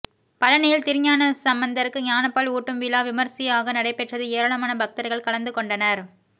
பழனியில் திருஞானசம்பந்தர்க்கு ஞானப்பால் ஊட்டும் விழா விமரிசையாக நடைபெற்றது ஏராளமான பக்தர்கள் கலந்து கொண்டனர்